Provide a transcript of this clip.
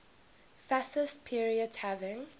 fascist period having